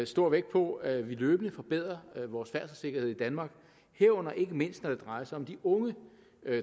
stor vægt på at vi løbende forbedrer vores færdselssikkerhed i danmark herunder ikke mindst når det drejer sig om de unge